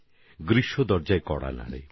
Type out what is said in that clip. গরমের পদধ্বনি শোনা যায়